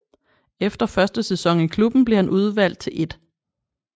Efter første sæson i klubben blev han udlejet til 1